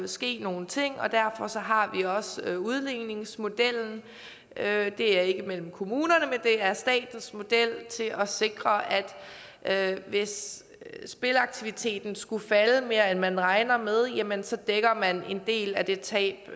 ske nogle ting og derfor har vi også udligningsmodellen det er ikke mellem kommunerne men det er statens model til at sikre at hvis spilaktiviteten skulle falde mere end man regner med jamen så dækker man en del af det tab